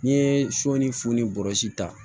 N'i ye sɔ ni funu ni bɔrɔsi ta